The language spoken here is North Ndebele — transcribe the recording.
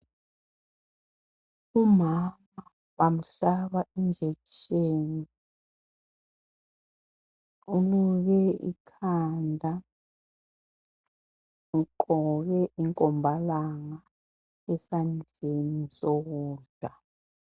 Umama bamhlaba injekisheni. Uluke ikhanda. Ugqoke inkombalanga, esandoeni sokudla.